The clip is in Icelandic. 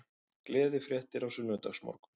Gleðifréttir á sunnudagsmorgun